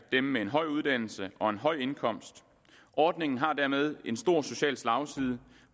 dem med en høj uddannelse og en høj indkomst ordningen har dermed en stor social slagside